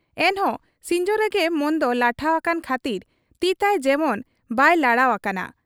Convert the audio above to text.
ᱮᱱᱦᱚᱸ ᱥᱤᱧᱡᱚ ᱨᱮᱜᱮ ᱢᱚᱱᱫᱚ ᱞᱟᱴᱷᱟ ᱟᱠᱟᱱ ᱠᱷᱟᱹᱛᱤᱨ ᱛᱤᱛᱟᱭ ᱡᱮᱢᱚᱱ ᱵᱟᱭ ᱞᱟᱲᱟᱣ ᱟᱠᱟᱱᱟ ᱾